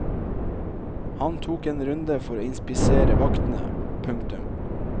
Han tok en runde for å inspisere vaktene. punktum